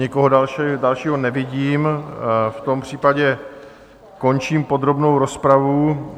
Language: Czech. Nikoho dalšího nevidím, v tom případě končím podrobnou rozpravu.